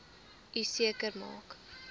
u seker maak